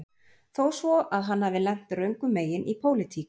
Þó svo að hann hafi lent röngum megin í pólitík